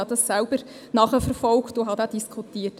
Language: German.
Ich habe das selber nachverfolgt und Diskussionen geführt.